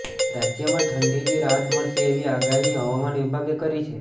રાજ્યમાં ઠંડીથી રાહત મળશે એવી આગાહી હવામાન વિભાગે કરી છે